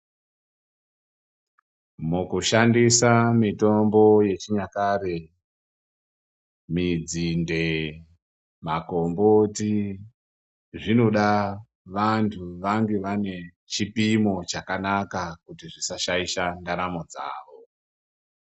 Mukushandisa mitombo yechinyakare, minzinde, makomboti zvinoda vantu vange vanechipimo chakanaka kuti zvisa shaisha ndaramo dzavo.